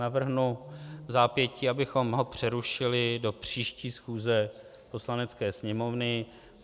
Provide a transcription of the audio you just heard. Navrhnu vzápětí, abychom ho přerušili do příští schůze Poslanecké sněmovny.